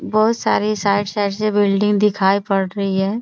बहुत सारे side - side से बिल्डिंग दिखाई पड़ रही है।